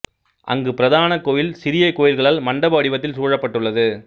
அங்கு பிரதான கோயில் சிறிய கோயில்களால் மண்டப வடிவத்தில் சூழப்பட்டுள்ளது